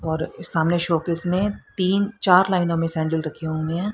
और सामने शोकेस में तीन चार लाइनों में सैंडल रखे हुए है।